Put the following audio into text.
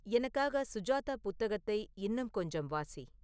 எனக்காக சுஜாதா புத்தகத்தை இன்னும் கொஞ்சம் வாசி